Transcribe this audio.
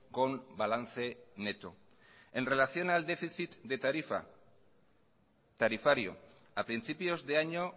con balance neto en relación al déficit de tarifa tarifario a principios de año